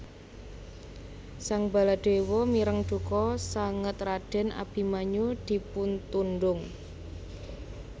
Sang Baladéwa mireng duka sanget radèn Abimanyu dipuntundhung